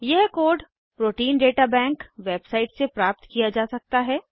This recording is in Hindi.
यह code protein data bank website से प्राप्त किया जा सकता है